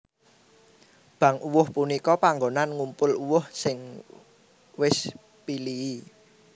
Bank uwuh punika panggonan ngumpul uwuh sing wis pilihi